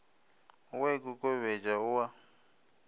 o a ikokobetša o a